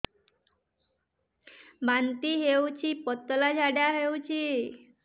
ବାନ୍ତି ହଉଚି ପତଳା ଝାଡା ହଉଚି